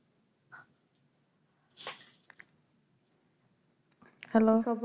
hello